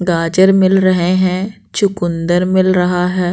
गाजर मिल रहे हैं चुकुंदर मिल रहा है।